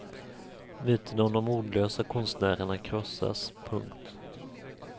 Myten om de ordlösa konstnärerna krossas. punkt